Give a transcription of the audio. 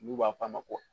N'u b'a f'a ma ko